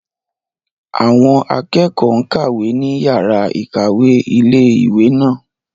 Àwọn akẹ́kọ̀ọ́ n kàwé ní yàrá-ìkàwé ilé-ìwé náà